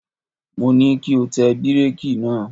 Mo ní kí o tẹ bíréèkì náà!